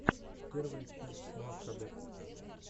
первая часть маккобель